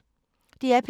DR P3